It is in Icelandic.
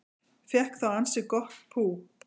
Fékk þá ansi gott pú